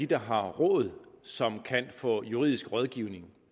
der har råd som kan få juridisk rådgivning